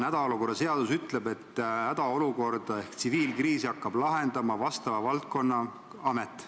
Hädaolukorra seadus ütleb, et hädaolukorda ehk tsiviilkriisi hakkab lahendama vastava valdkonna amet.